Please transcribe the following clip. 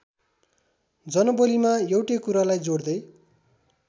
जनबोलीमा एउटै कुरालाई जोड्दै